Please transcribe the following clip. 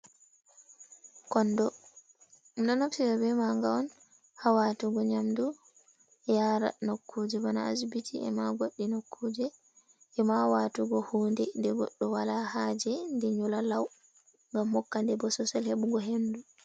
Kondo, ɗum ɗo naftira be manga on hawatugo nyamdu yaara nokkuje bana asbiti e ma goɗɗi nokkuje, e mawatugo hunde de goɗɗo wala haje ɗi nyola lau, ngam hokkande bososel heɓugo hendu.